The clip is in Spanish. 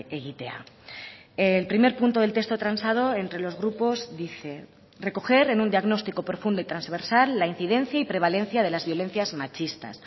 egitea el primer punto del texto transado entre los grupos dice recoger en un diagnóstico profundo y transversal la incidencia y prevalencia de las violencias machistas